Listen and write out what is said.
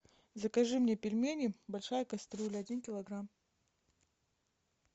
закажи мне пельмени большая кастрюля один килограмм